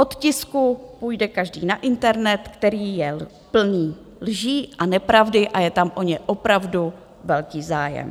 Od tisku půjde každý na internet, který je plný lží a nepravdy a je tam o ně opravdu velký zájem.